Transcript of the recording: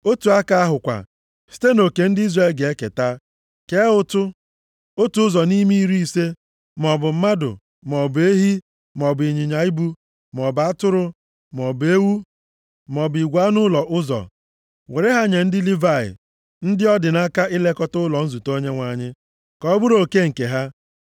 Otu aka ahụ kwa, site nʼoke ndị Izrel ga-eketa, kee ụtụ. Otu ụzọ nʼime iri ise, maọbụ mmadụ, maọbụ ehi, maọbụ ịnyịnya ibu, maọbụ atụrụ, maọbụ ewu, maọbụ igwe anụ ụlọ ụzọ. Were ha nye ndị Livayị, ndị ọ dị nʼaka ilekọta ụlọ nzute Onyenwe anyị, ka ọ bụrụ oke nke ha.”